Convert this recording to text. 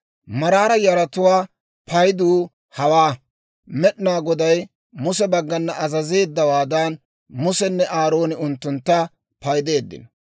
Maraara yaratuwaa paydu hawaa. Med'inaa Goday Muse baggana azazeeddawaadan, Musenne Aarooni unttuntta paydeeddino.